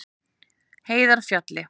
Heiðarfjalli